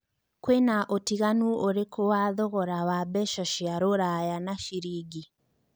kwĩna ũtinganu ũrikũ wa thogora wa mbeca cia rũraya na ciringi